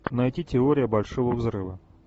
найти теория большого взрыва